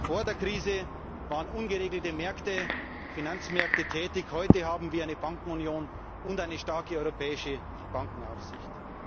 Vor der Krise waren ungeregelte Finanzmärkte tätig, heute haben wir eine Bankenunion und eine starke europäische Bankenaufsicht.